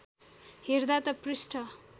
हेर्दा त पृष्ठ